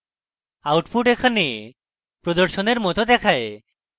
output এখানে প্রদর্শনের মত দেখায়